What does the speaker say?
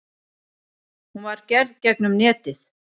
Hún var gerð gegnum netið.